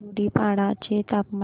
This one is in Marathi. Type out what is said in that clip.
धुडीपाडा चे तापमान